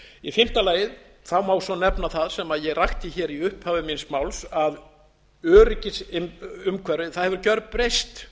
í fimmta lagi má svo nefna það sem ég rakti hér í upphafi míns máls að öryggisumhverfið hefur gjörbreyst